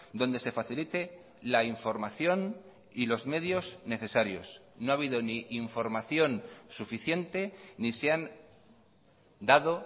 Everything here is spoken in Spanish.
donde se facilite la información y los medios necesarios no ha habido ni información suficiente ni se han dado